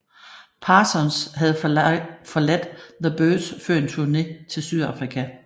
Parsons havde forladt The Byrds før en turne til Sydafrika